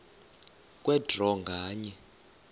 kwe draw nganye